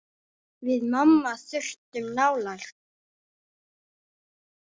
Við mamma þurftum nálægð.